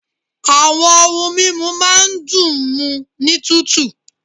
Àwọn ohun mímu máa ń dùn ún mu ní tútù